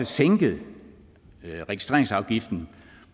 sænket registreringsafgiften